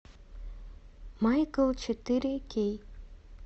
майкл четыре кей